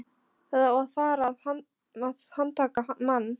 Það á að fara að handtaka mann.